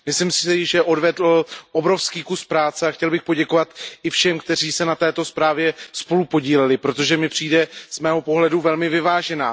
Myslím si totiž, že odvedl obrovský kus práce, a chtěl bych poděkovat i všem, kteří se na této zprávě spolupodíleli, protože mi přijde z mého pohledu velmi vyvážená.